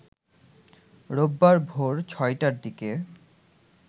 রোববার ভোর ৬টার দিকে